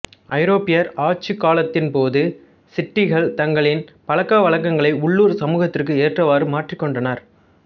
ஐரோப்பியர் ஆட்சிக்காலத்தின்போது சிட்டிகள் தங்களின் பழக்கவழக்கங்களை உள்ளூர் சமூகத்திற்கு ஏற்றவாறு மாற்றிக்கொண்டனர்